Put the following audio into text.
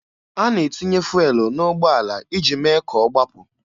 A na-etinye fụelụ n'ụgbọala iji mee ka ọ gbapụ.